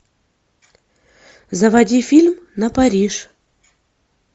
заводи фильм на париж